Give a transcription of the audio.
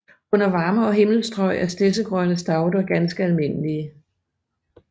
Under varmere himmelstrøg er stedsegrønne stauder ganske almindelige